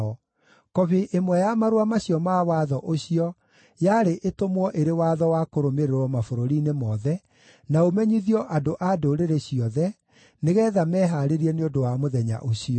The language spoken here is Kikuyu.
Kobi ĩmwe ya marũa macio ma watho ũcio yarĩ ĩtũmwo ĩrĩ watho wa kũrũmĩrĩrwo mabũrũri-inĩ mothe, na ũmenyithio andũ a ndũrĩrĩ ciothe, nĩgeetha mehaarĩrie nĩ ũndũ wa mũthenya ũcio.